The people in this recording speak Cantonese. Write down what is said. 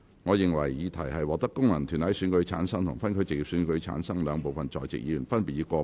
我認為議題獲得經由功能團體選舉產生及分區直接選舉產生的兩部分在席議員，分別以過半數贊成。